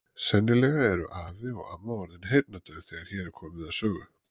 Sennilega eru afi og amma orðin heyrnardauf þegar hér er komið sögu